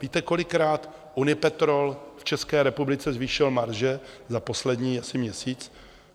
Víte, kolikrát Unipetrol v České republice zvýšil marže za poslední asi měsíc?